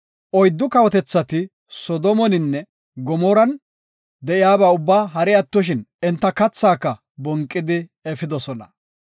Oyddu kawotethati Soodomeninne Gamooran de7iyaba ubba hari attoshin, enta kathaaka bonqidi efidosona.